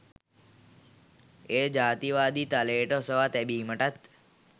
එය ජාතිකවාදී තලයට ඔසවා තැබීමටත්